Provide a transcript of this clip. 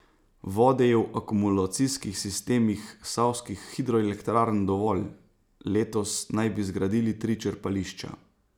Vode je v akumulacijskih sistemih savskih hidroelektrarn dovolj, letos naj bi zgradili tri črpališča.